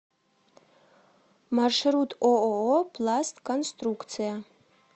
маршрут ооо пластконструкция